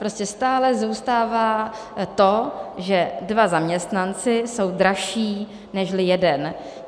Prostě stále zůstává to, že dva zaměstnanci jsou dražší nežli jeden.